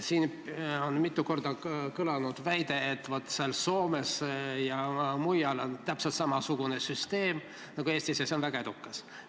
Siin on mitu korda kõlanud väide, kuidas Soomes ja mujal on täpselt samasugune süsteem nagu Eestis ja et selline süsteem on seal väga edukas.